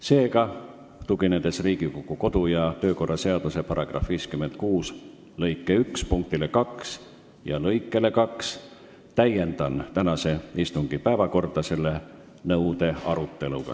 Seega, tuginedes Riigikogu kodu- ja töökorra seaduse § 56 lõike 1 punktile 2 ja lõikele 2, täiendan tänase istungi päevakorda selle nõude aruteluga.